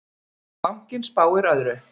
Bankinn spáir öðru.